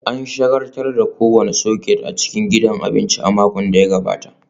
An shagaltar da kowane soket a cikin gidan abinci a makon da ya gabata